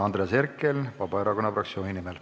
Andres Herkel Vabaerakonna fraktsiooni nimel.